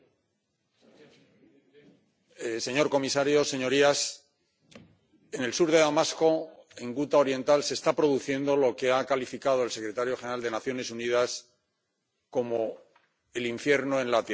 Señor presidente, señor comisario, señorías, en el sur de Damasco, en Guta Oriental, se está produciendo lo que ha calificado el secretario general de las Naciones Unidas como el infierno en la Tierra.